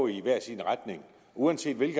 i hver sin retning og uanset i